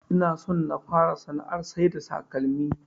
Inason na fara sana'ar saida takalmi